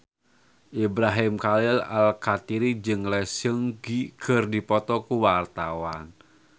Ibrahim Khalil Alkatiri jeung Lee Seung Gi keur dipoto ku wartawan